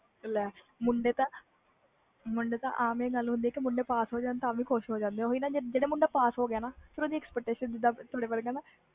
ਲੈ ਮੁੰਡੇ ਆਮ ਜਿਹੀ ਗੱਲ ਹੁੰਦੀ ਆ ਜੇ ਪਾਸ ਹੋ ਜਾਨ ਤਵੀ ਖੁਸ਼ ਹੋ ਜਾਂਦੇ ਆ